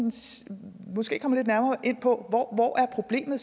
måske kunne komme lidt nærmere ind på hvor problemet